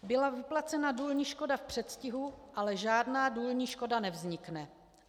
Byla vyplacena důlní škoda v předstihu, ale žádná důlní škoda nevznikne.